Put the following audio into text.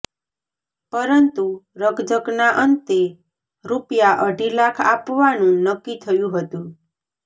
પરંતુ રકઝકના અંતે રૂપિયા અઢી લાખ આપવાનું નક્કી થયું હતું